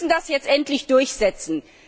Wir müssen das jetzt endlich durchsetzen!